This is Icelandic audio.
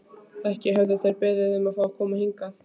Ekki höfðu þeir beðið um að fá að koma hingað.